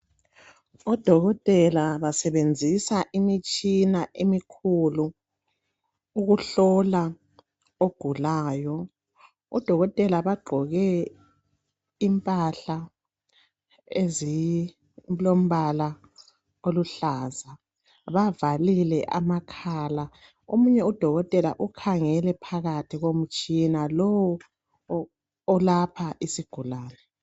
Odokotela basebenzisa imitshina emikhulu ukuhlola ogulayo odokotela abagqoke impahla ezilomba oluhlaza bavalile amakhala omunye udokotela ukhangele phakathi komtshina lo olapha isigulani